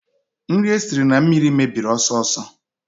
Nri esiri na mmiri mebiri ọsọ ọsọ